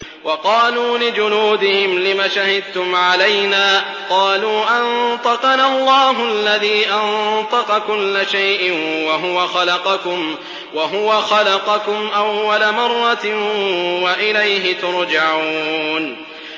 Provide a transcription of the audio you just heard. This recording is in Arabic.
وَقَالُوا لِجُلُودِهِمْ لِمَ شَهِدتُّمْ عَلَيْنَا ۖ قَالُوا أَنطَقَنَا اللَّهُ الَّذِي أَنطَقَ كُلَّ شَيْءٍ وَهُوَ خَلَقَكُمْ أَوَّلَ مَرَّةٍ وَإِلَيْهِ تُرْجَعُونَ